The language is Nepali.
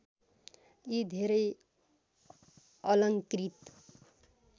यी धेरै अलङ्कृत